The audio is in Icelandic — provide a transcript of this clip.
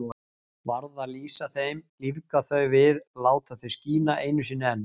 Varð að lýsa þeim, lífga þau við, láta þau skína einu sinni enn.